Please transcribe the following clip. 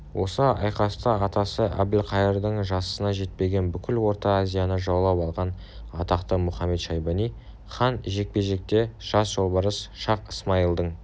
осы айқаста атасы әбілқайырдың жасына жетпеген бүкіл орта азияны жаулап алған атақты мұхамед-шайбани хан жекпе-жекте жас жолбарыс шах-ысмайылдың